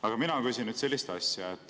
Aga mina küsin sellist asja.